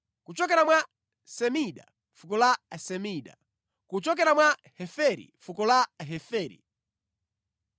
kuchokera mwa Semida, fuko la Asemida; kuchokera mwa Heferi, fuko la Aheferi.